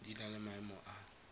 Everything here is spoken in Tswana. di na le maemo a